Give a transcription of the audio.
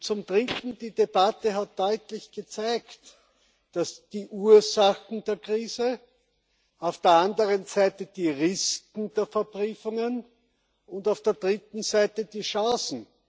Zum Dritten Die Debatte hat deutlich gezeigt die Ursachen der Krise, auf der anderen Seite die Risken der Verbriefungen und auf der dritten Seite die Chancen.